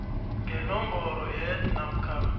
ngenomboro yeid namkha